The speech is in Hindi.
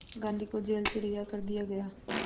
गांधी को जेल से रिहा कर दिया गया